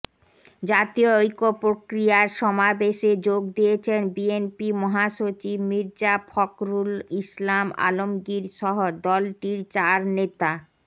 জাতীয় ঐক্য প্রক্রিয়ার সমাবেশে যোগ দিয়েছেন বিএনপি মহাসচিব মির্জা ফখরুল ইসলাম আলমগীরসহ দলটির চার নেতা